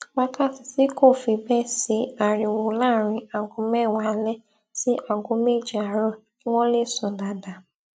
wákàtí tí kò fi béè sí ariwo láàárín aago méwàá alé sí aago méje àárò kí wón lè sùn dáadáa